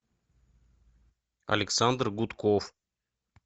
александр гудков